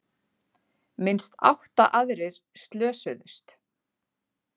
Minnst átta aðrir slösuðust